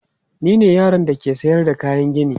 Ni ne yaron da ke sayar da kayan gini.